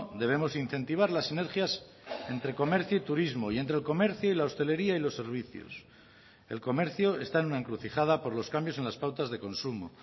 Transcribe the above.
debemos incentivar las sinergias entre comercio y turismo y entre el comercio y la hostelería y los servicios el comercio está en una encrucijada por los cambios en las pautas de consumo